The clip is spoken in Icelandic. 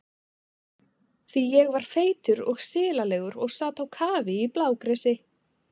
Því ég var feitur og silalegur og sat á kafi í blágresi.